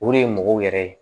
O de ye mɔgɔw yɛrɛ ye